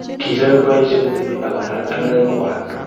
Kichomei boisie kotepii ak kong'alal ak neranik kwak.